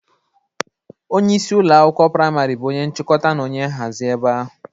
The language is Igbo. Onyeisi ụlọ akwụkwọ prịmarị bụ onye nchịkọta na onye nhazị ebe ahụ.